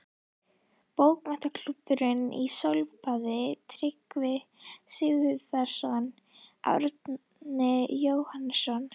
Bókmenntaklúbbur í sólbaði: Tryggvi Sigurbjarnarson, Árni, Jóhannes